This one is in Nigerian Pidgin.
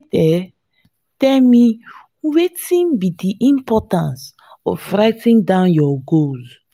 you fit um tell me wetin be di importance of writing down your goals?